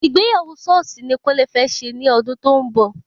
Ìgbéyàwó sọ́ọ̀sì ni kúnlé fẹ́ ṣe ní ọdún tó ń bọ̀